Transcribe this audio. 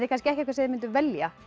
kannski ekki það sem þið mynduð velja